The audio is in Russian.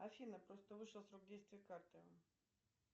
афина просто вышел срок действия карты